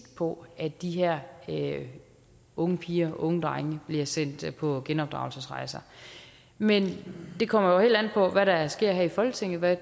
på at de her unge piger og unge drenge bliver sendt på genopdragelsesrejser men det kommer jo helt an på hvad der sker her i folketinget hvad